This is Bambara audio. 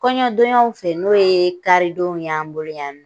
Kɔɲɔdonyaw fɛ n'o ye karidonw y'an boloya nɔ